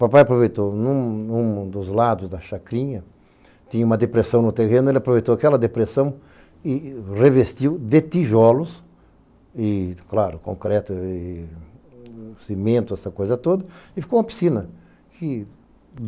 Papai aproveitou, num dos lados da chacrinha, tinha uma depressão no terreno, ele aproveitou aquela depressão e revestiu de tijolos e, claro, concreto e cimento, essa coisa toda, e ficou uma piscina.